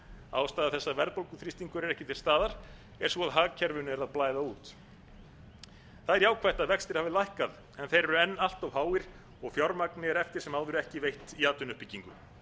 ástæða þess að verðbólguþrýstingurinn er ekki til staðar er sú að hagkerfinu er að blæða út það er jákvætt að vextir hafa lækkað en þeir eru enn allt háir og fjármagni er eftir sem áður ekki veitt tí atvinnuuppbyggingu